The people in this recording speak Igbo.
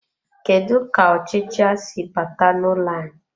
Kedu ka ọchịcha si bata n'ụlọ anyị.